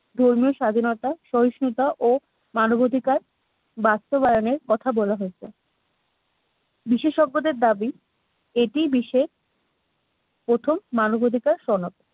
ধর্মীয় স্বাধীনতা সহিষ্ণুতা ও মানবাধিকার বাস্তবায়নের কথা বলা হয়েছে। বিশেষজ্ঞদের দাবি এটি বিশ্বের প্রথম মানবাধিকার সনাব